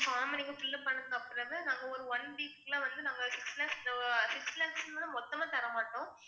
form நீங்க fill up பண்ணதுக்கு அப்புறம்தான் நாங்க ஒரு one week ல வந்து நாங்க six lakhs க்கு மேல மொத்தமா தர மாட்டோம்